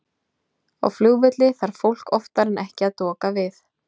Á flugvelli þarf fólk oftar en ekki að doka við.